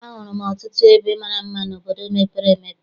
A hụrụ m ọtụtụ ebe mara mma n'obodo mepere emepe.